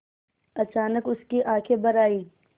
अचानक उसकी आँखें भर आईं